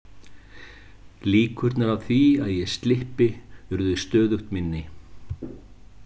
Líkurnar á því að ég slyppi urðu stöðugt minni.